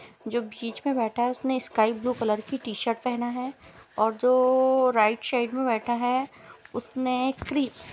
जो बीच में बैठा है उसने स्काई ब्लू कलर की टी-शर्ट पहना है और जो ओ-ओ राइट साइड में बैठा है उसने क्री --